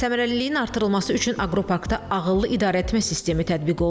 Səmərəliliyin artırılması üçün aqroparkda ağıllı idarəetmə sistemi tətbiq olunur.